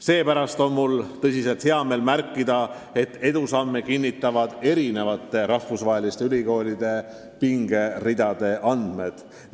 Seepärast on mul tõsiselt hea meel märkida, et meie edusamme kinnitavad rahvusvaheliste ülikoolide pingeridade andmed.